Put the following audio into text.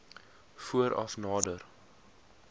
voor af nader